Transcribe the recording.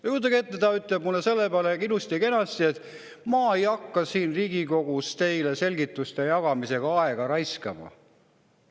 Kujutage ette, ta ütleb mulle selle peale ilusti-kenasti, et ta ei hakka siin Riigikogus mulle selgituste jagamisega aega raiskama.